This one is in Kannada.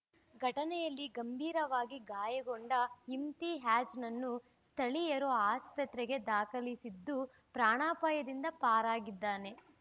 ಘಟನೆಯಲ್ಲಿ ಗಂಭೀರವಾಗಿ ಗಾಯಗೊಂಡ ಇಮ್ತಿಯಾಜ್‌ನನ್ನು ಸ್ಥಳೀಯರು ಆಸ್ಪತ್ರೆಗೆ ದಾಖಲಿಸಿದ್ದು ಪ್ರಾಣಾಪಾಯದಿಂದ ಪಾರಾಗಿದ್ದಾನೆ